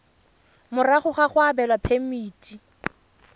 morago ga go abelwa phemiti